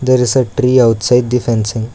there is a tree outside the fencing.